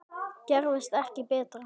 Gerist ekki betra!